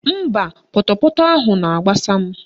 Mba, pọtọpọtọ ahụ na-agbasa m